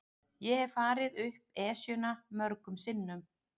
Ég hef farið upp Esjuna mörgum sinnum.